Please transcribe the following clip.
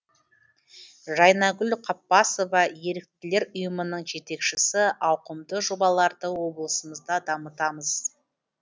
жайнагүл қаппасова еріктілер ұйымының жетекшісі ауқымды жобаларды облысымызда дамытамыз